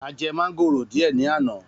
A je mángóró dìé ní àná.